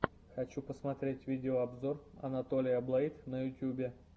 хочу посмотреть видеообзор анатолия блэйд на ютюбе